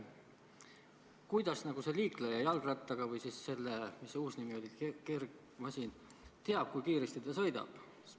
Kuidas see liikleja jalgrattaga või siis sellega – mis see uus nimi oli – kergmasinaga teab, kui kiiresti ta sõidab?